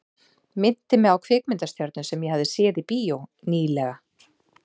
Minnti mig á kvikmyndastjörnu sem ég hafði séð í bíó ný- lega.